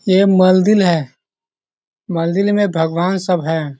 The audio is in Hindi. ये मलदिर है। मलदिर में भगवान सब हैं।